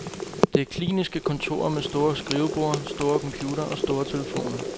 Det er kliniske kontorer med store skriveborde, store computere og store telefoner.